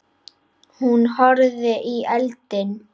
Hún horfði í eldinn.